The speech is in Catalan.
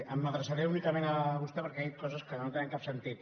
m’adreçaré únicament a vostè perquè ha dit coses que no tenen cap sentit